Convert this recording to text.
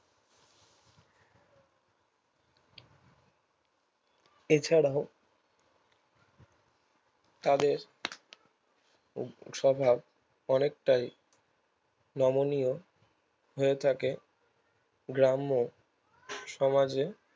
এছাড়াও তাদের সভার অনেকটাই নমনীয় হয়ে থাকে গ্রাম্য সমাজে